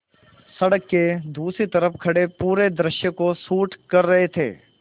सड़क के दूसरी तरफ़ खड़े पूरे दृश्य को शूट कर रहे थे